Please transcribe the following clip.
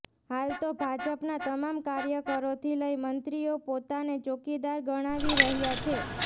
હાલ તો ભાજપના તમામ કાર્યકરોથી લઈ મંત્રીઓ પોતાને ચોકીદાર ગણાવી રહ્યા છે